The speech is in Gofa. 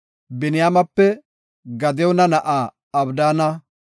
Biniyaamepe Gadiyoona na7aa Abdaana;